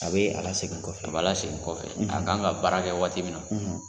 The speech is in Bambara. A bɛ a lasegin kɔfɛ a b'a lasegin kɔfɛ a kan ka baara kɛ waati min na.